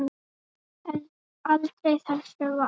Aldrei þessu vant.